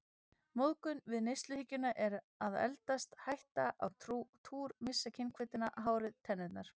Móðgun við neysluhyggjuna að eldast, hætta á túr, missa kynhvötina, hárið, tennurnar.